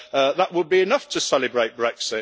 That would be enough to celebrate Brexit!